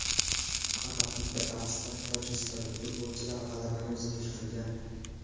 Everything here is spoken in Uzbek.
Faqat bitta bahsda tojikistonlik futbolchilar g‘alabani o‘ziniki qilgan.